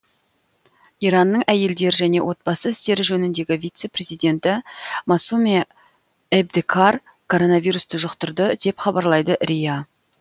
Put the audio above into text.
иранның әйелдер және отбасы істері жөніндегі вице президенті масуме эбтекар коронавирусты жұқтырды деп хабарлайды риа